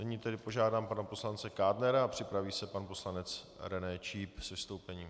Nyní požádám pana poslance Kádnera a připraví se pan poslanec René Číp s vystoupením.